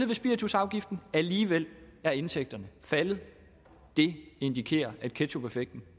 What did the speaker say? ved spiritusafgiften alligevel er indtægterne faldet det indikerer at ketchupeffekten